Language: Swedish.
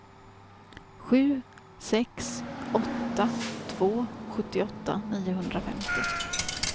sju sex åtta två sjuttioåtta niohundrafemtio